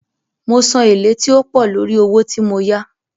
Mo san èlé tí ó pọ̀ lórí owó tí mo yá.